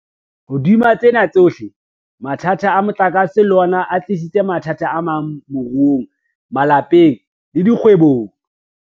Hodima tsena tsohle, mathata a motlakase le ona a tlisitse mathata amang moruong, malapeng le dikgwebong.